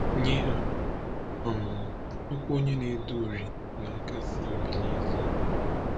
Nye ha, um okwu onye na-ede uri na-akasi obi n’ezie.